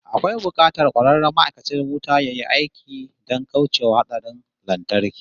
Akwai bukatar kwararren ma'aikacin wuta yayi aiki don kauce wa hatsarin lantarki